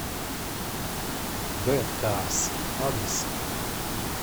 бэдкарс адрес